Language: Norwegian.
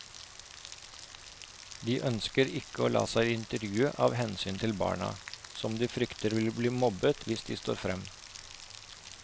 De ønsker ikke å la seg intervjue av hensyn til barna, som de frykter vil bli mobbet hvis de står frem.